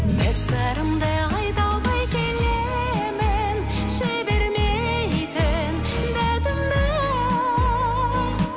бір сырымды айта алмай келемін жібермейтін датымды